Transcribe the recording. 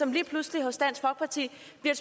lige pludselig til